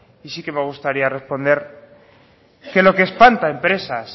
y sí que me gustaría responder que lo que espanta empresas